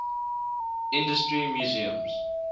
industry museums